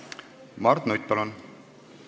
Mart Nutt, palun!